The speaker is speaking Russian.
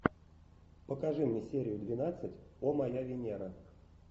покажи мне серию двенадцать о моя венера